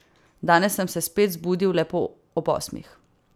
Danes sem se spet zbudil lepo ob osmih.